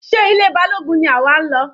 Sé ilé Balógun ni àwa ń lọ?